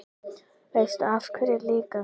Veistu af hverju líka?